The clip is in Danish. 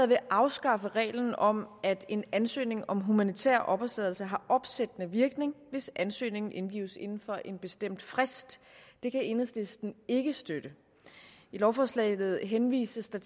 vil afskaffe reglen om at en ansøgning om humanitær opholdstilladelse har opsættende virkning hvis ansøgningen indgives inden for en bestemt frist det kan enhedslisten ikke støtte i lovforslaget henvises der